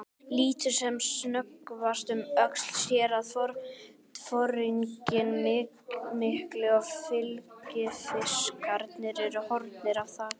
Lítur sem snöggvast um öxl, sér að foringinn mikli og fylgifiskarnir eru horfnir af þakinu.